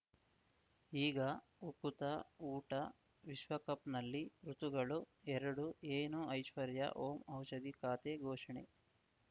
ಈಗ ಉಕುತ ಊಟ ವಿಶ್ವಕಪ್‌ನಲ್ಲಿ ಋತುಗಳು ಎರಡು ಏನು ಐಶ್ವರ್ಯಾ ಓಂ ಔಷಧಿ ಖಾತೆ ಘೋಷಣೆ